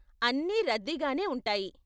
అన్నీ రద్దీగానే ఉంటాయి.